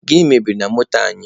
Gịnị mebiri na moto anyị?